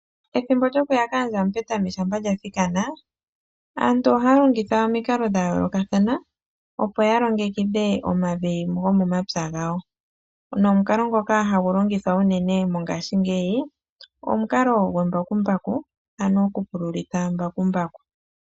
Ethimbo lyo kuya kaandja ya mupetami shampa lya thikana . Aantu ohaya longitha omikalo dha yoolokathana opo ya longekidhe omavi go momapya gawo nomukalo ngoka hagu longithwa uunene mongashingeyi, omukalo gwe mbakumbaku ano oku pululitha mbakumbaku.